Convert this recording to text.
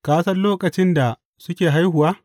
Ka san lokacin da suke haihuwa?